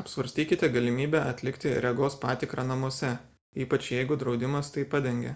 apsvarstykite galimybę atlikti regos patikrą namuose ypač jeigu draudimas tai padengia